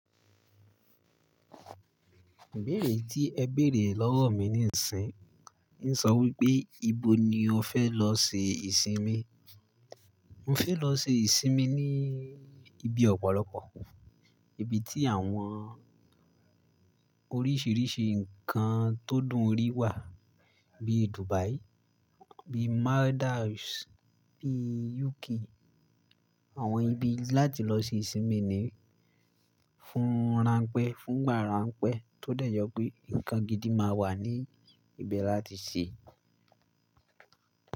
Ibẹ́ẹ̀re, tí ẹ bèrè lọ́wọ́ mi níìsín, n sọ wí pé, "Ibo ni o fẹ́ lọ ṣe ìsinmi?" Mọ fẹ́ lọ ṣe ìsinmi ní ibi ọ̀pọ̀lọpọ̀, ibi tí àwọn oríṣìíríṣìí nǹkan tó dùn rí wà, bíi Dubai, bíi Maldives ní UK. Àwọn ibi láti lọ ṣe ìsinmi ni, fún ránpẹ́, fún ìgbà ránpẹ́ tó dẹ̀ jẹ pé nǹkan gidi máa wà ní ibẹ̀ láti ṣe.